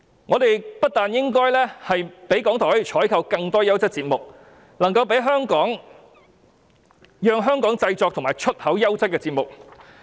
我們不單應該給予港台資源採購更多優質節目，更應讓他們製作及出口優質節目。